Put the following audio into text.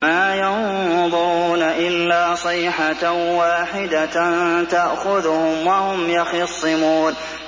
مَا يَنظُرُونَ إِلَّا صَيْحَةً وَاحِدَةً تَأْخُذُهُمْ وَهُمْ يَخِصِّمُونَ